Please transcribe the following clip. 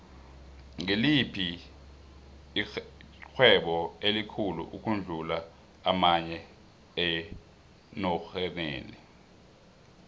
ngiliphi ixhwebo elikhulu ukudlu amanye enorhenile